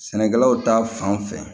Sɛnɛkɛlaw ta fan fɛ